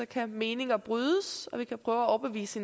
kan meninger brydes og vi kan prøve at overbevise